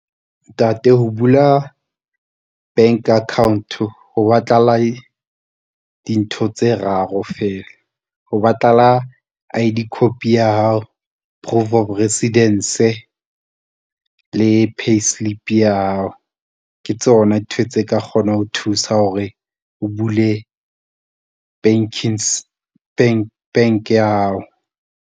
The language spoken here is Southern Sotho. Ntate, ho bula bank account-o ho batlahala dintho tse raro feela, ho batlahala I_D copy ya hao. Proof of residence le payslip ya hao, ke tsona dintho tse ka kgonang ho thusa hore o bule bank ya hao.